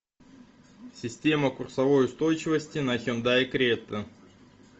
система курсовой устойчивости на хендай крета